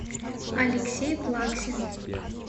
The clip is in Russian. алексей плаксин